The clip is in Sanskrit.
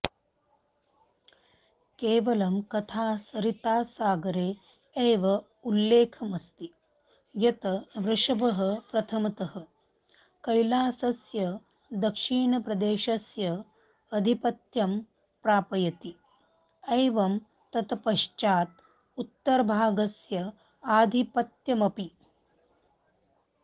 केवलं कथासरित्सागरे एव उल्लेखमस्ति यत् ऋषभः प्रथमतः कैलासस्य दक्षिणप्रदेशस्य आधिपत्यं प्रापयति एवं तत्पश्चात् उत्तरभागस्य आधिपत्यमपि